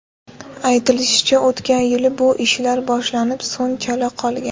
Aytilishicha, o‘tgan yili bu ishlar boshlanib, so‘ng chala qolgan.